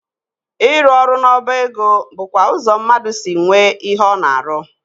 Ịrụ ọrụ n'ọba ego bụkwa ụzọ mmadụ si nwee ihe ọ na-arụ.